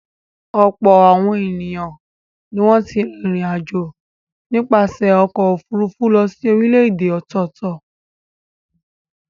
Ọ̀pọ̀ àwọn ènìyàn ni wọ́n ti rìnrìn-àjò nípasẹ̀ ọkọ̀-òfurufú lọ sí orílẹ̀-èdè ọ̀tọ̀ọ̀tọ̀.